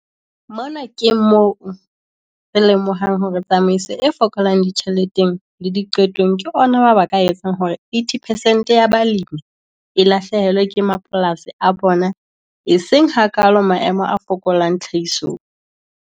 Mona ke moo re lemohang hore tsamaiso e fokolang ditjheleteng le diqetong ke ona mabaka a etsang hore 80 percent ya balemi e lahlehelwe ke mapolasi a bona, eseng hakaalo maemo a fokolang tlhahisong.